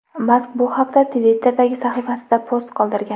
Mask bu haqda Twitter’dagi sahifasida post qoldirgan .